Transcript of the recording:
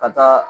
Ka taa